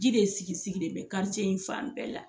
Ji de sigi sigilen bɛ in fan bɛɛ la.